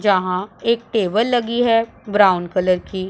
जहां एक टेबल लगी है ब्राउन कलर की--